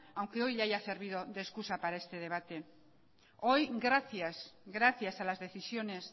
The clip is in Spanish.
aunque hoy le haya servido de excusa para este debate hoy gracias gracias a las decisiones